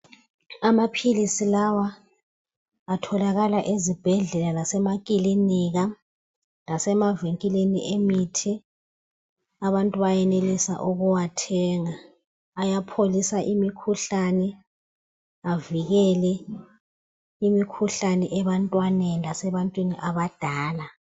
Amaphilisi lawa atholakala eZibhedlela lemakiliniki lasemavinkilini emithi. Abantu bayenelisa ukuwathenga, ayapholisa imikhuhlane avikele imikhuhlane ebantwaneni lasebantwini abadala